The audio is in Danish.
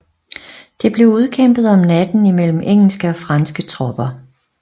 Det blev udkæmpet om natten imellem engelske og franske tropper